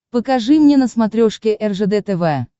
покажи мне на смотрешке ржд тв